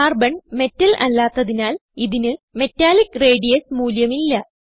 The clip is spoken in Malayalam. കാർബൺ മെറ്റൽ അല്ലാത്തതിനാൽ ഇതിന് മെറ്റാലിക്ക് റേഡിയസ് മൂല്യം ഇല്ല